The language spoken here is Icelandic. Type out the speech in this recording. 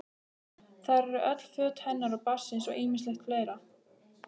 Þar eru öll föt hennar og barnsins og ýmislegt fleira.